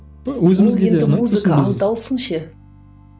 ол енді музыка ал дауысың ше